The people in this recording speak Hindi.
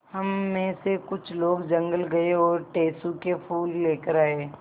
हम मे से कुछ लोग जंगल गये और टेसु के फूल लेकर आये